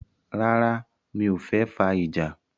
Rárá, mi o fẹ́ fà ìjà?